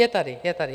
Je tady, je tady.